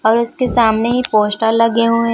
और उसके सामने ही पोस्टर लगे हुए--